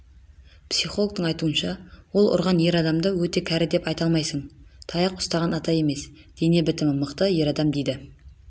психологтың айтуынша ол ұрған ер адамды өте кәрі деп айта алмайсың таяқ ұстаған ата емес дене бітімі мықты ер адам дейді